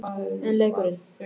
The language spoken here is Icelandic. En leikurinn?